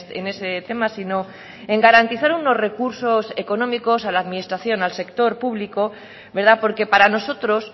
en ese tema sino en garantizar unos recursos económicos a la administración al sector público porque para nosotros